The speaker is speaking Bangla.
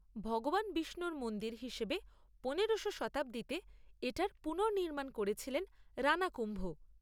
ভগবান বিষ্ণুর মন্দির হিসেবে পনেরো শ শতাব্দীতে এটার পুনর্নির্মাণ করেছিলেন রাণা কুম্ভ।